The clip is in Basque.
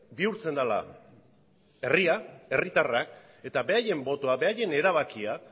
bihurtzen dela herria herritarrak eta beraien botoa beraien erabakia